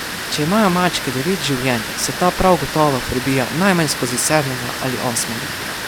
Če imajo mačke devet življenj, se ta prav gotovo prebija najmanj skozi sedmega ali osmega.